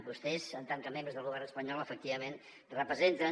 vostès en tant que membres del govern espanyol efectivament representen